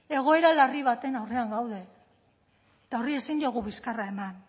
egoera larri baten aurrean gaude eta horri ezin diogu bizkarra eman